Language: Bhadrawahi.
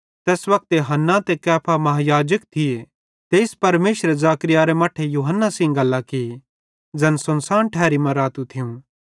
तैस वक्ते हन्ना ते कैफा महायाजक थिये तेइस परमेशरे जकर्याहरे मट्ठे यूहन्ना सेइं गल्लां की ज़ैन सुनसान ठैरी मां रातू थियूं